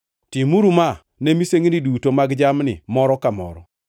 Timuru ma ne misengini duto mag jamni moro ka moro.